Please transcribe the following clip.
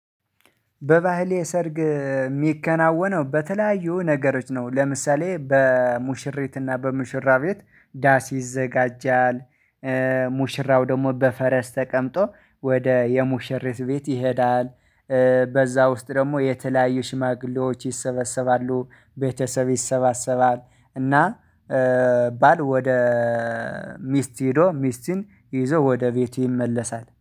በባህሌ ሰርግ የሚከናወነው በተለያዩ ነገሮች ነው ለምሳሌ በሙሽሪት እና በሙሽራ ቤት ዳስ ይዘጋጃል። ሙሽራው ደግሞ በፈረስ ተቀምጦ ወደ የሙሽሬት ቤት ይሄዳል። በዛ ውስጥ ደግሞ የተለያዩ ሽማግሌዎች ይሰበሰባሉ ቤተሰብ ይሰባሰባል። እና ባል ወደ ሚስት ሄዶ ሚስትን ይዞ ወደ ቤቱ ይመለሳል